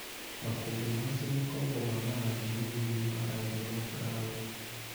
Makũmbĩ ma cio makoragwo na marangi manini ma rangi wa burauni.